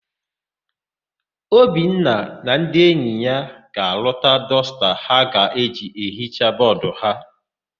Obinna na ndị enyi ya ga-arụta dọsta ha ga-eji hichaa bọọdụ ha.